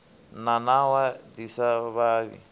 na nawa ḓi sa vhavhi